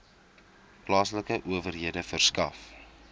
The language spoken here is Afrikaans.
plaaslike owerhede verskaf